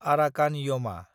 Arakan यमा